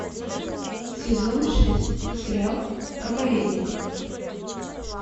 сезон шесть сериал проповедник